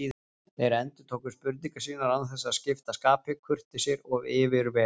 Þeir endurtóku spurningar sínar án þess að skipta skapi, kurteisir og yfirvegaðir.